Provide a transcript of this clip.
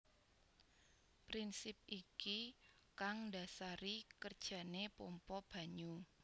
Prinsip iki kang ndasari kerjane pompa banyu